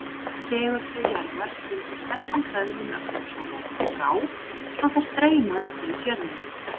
segulsvið jarðar hrindir flestum hlöðnum ögnum sólarinnar frá svo þær streyma umhverfis jörðina